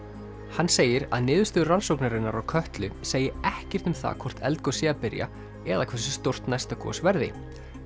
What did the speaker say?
hann segir að niðurstöður rannsóknarinnar á Kötlu segi ekkert um það hvort eldgos sé að byrja eða hversu stórt næsta gos verði